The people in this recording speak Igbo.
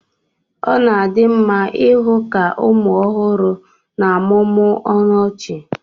ọ na-adị mma ịhụ ka ụmụ ọhụrụ na-amụmụ ọnụ ọchị